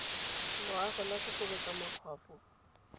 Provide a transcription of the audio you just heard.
loago la go kokobatsa makgwafo